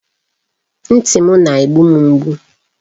Ntị m na-egbu m mgbu.